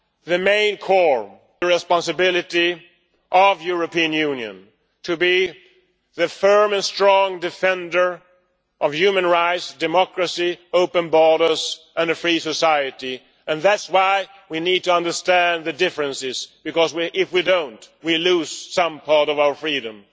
The core responsibility of the European Union is to be the firm and strong defender of human rights, democracy, open borders and a free society. That is why we need to understand the differences, because, if we do not, we lose some part of our freedom.